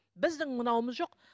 біздің мынауымыз жоқ